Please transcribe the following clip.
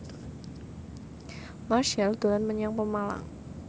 Marchell dolan menyang Pemalang